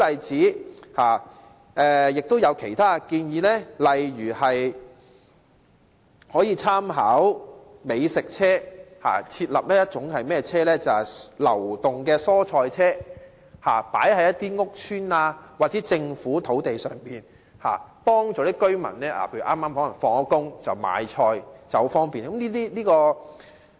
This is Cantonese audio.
此外，亦有其他建議，例如可以參考美食車，設立流動蔬菜車，於屋邨或政府土地上擺放，方便市民在下班經過時買菜。